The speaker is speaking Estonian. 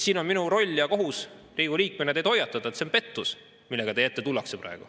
Minu roll ja kohus Riigikogu liikmena on teid hoiatada, et see on pettus, millega teie ette praegu tullakse.